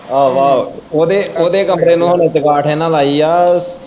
ਆਹੋ ਆਹੋ ਓਦੇ ਓਦੇ ਕਮਰੇ ਹੁਣ ਚੰਗਾਂਠ ਇਨ ਲਾਈ ਆ।